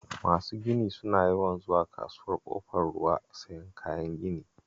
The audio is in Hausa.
Masu gini suna yawan zuwa Kasuwar Ƙofar Ruwa sayan kayan gini